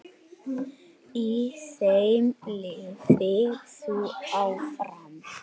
Í þeim lifir þú áfram.